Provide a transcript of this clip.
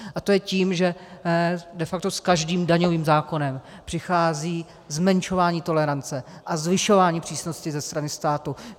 A to je tím, že de facto s každým daňovým zákonem přichází zmenšování tolerance a zvyšování přísnosti ze strany státu.